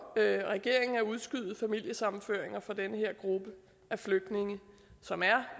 regeringen at udskyde familiesammenføringer for den her gruppe af flygtninge som er